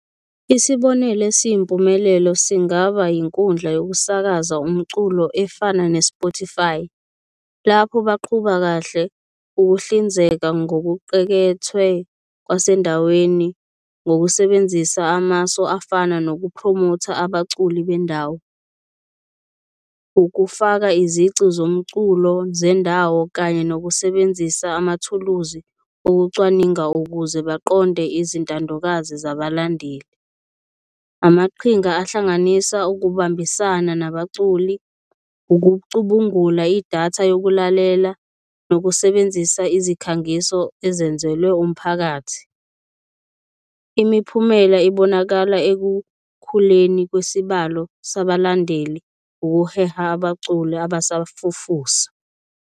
Isibonelo esiyimpumelelo singaba yinkundla yokusakaza umculo efana ne-Spotify, lapho baqhuba kahle ukuhlinzeka ngokuqekethwe kwasendaweni ngokusebenzisa amasu afana nokuphromotha abaculi bendawo, ukufaka izici zomculo zendawo, kanye nokusebenzisa amathuluzi okucwaninga ukuze baqonde izintandokazi zabalandeli. Amaqhinga ahlanganisa ukubambisana nabaculi, ukucubungula idatha yokulalela nokusebenzisa izikhangiso ezenzelwe umphakathi. Imiphumela ibonakala ekukhuleni kwesibalo sabalandeli ukuheha abaculi abasafufusa.